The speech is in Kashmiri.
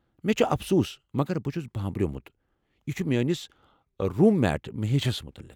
مےٚ چُھ افسوٗس مگر بہٕ چھُس بامبریٛومُت، یہِ چھُ میٛٲنس روٗم میٹ مہیشس متعلق۔